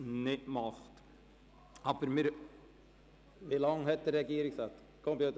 Wie lange bräuchte Herr Regierungsrat Schnegg?